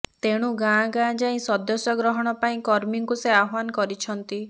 ତେଣୁ ଗାଁ ଗାଁ ଯାଇ ସଦସ୍ୟ ଗ୍ରହଣ ପାଇଁ କର୍ମୀଙ୍କୁ ସେ ଆହ୍ୱାନ କରିଛନ୍ତି